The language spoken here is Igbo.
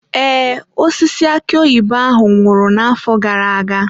Ee, osisi aki oyibo ahụ nwụrụ n'afọ gara aga.